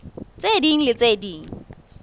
tse ding le tse ding